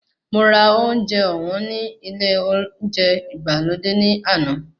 Mo ra oúnjẹ ọ̀wọ́n ní ilé olóúnjẹ ìgbàlódé ní àná.